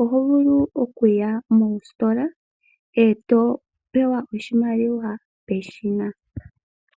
oho vulu oku ya mositola eto pewa oshimaliwa peshina.